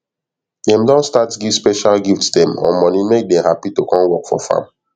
dem don start give special gift dem or money make dem happy to come work for farm